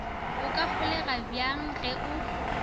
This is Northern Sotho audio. o ka holegabjang ge o